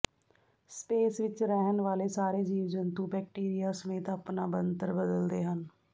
space ਵਿਚ ਰਹਿਣ ਵਾਲੇ ਸਾਰੇ ਜੀਵ ਜੰਤੂ ਬੈਕਟੀਰੀਆ ਸਮੇਤ ਆਪਣਾ ਬਣਤਰ ਬਦਲਦੇ ਹਨ